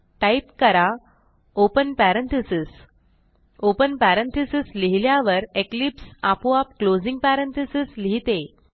type करा open parentheses open parenthesis लिहिल्यावर Eclipse आपोआप क्लोजिंग पॅरेंथेसिस लिहिते